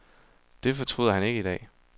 Det fortryder han ikke i dag.